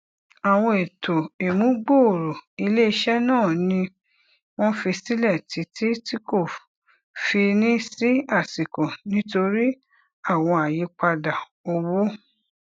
àwọn ètò ìmúgbòòrò iléiṣẹ náà ni wọn fi sílẹ títí tí kò fi ní sí àsìkò nítorí àwọn àyípadà owó